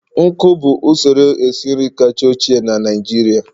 nkụ bụ usoro esi nri kacha ochie na Naịjirịa.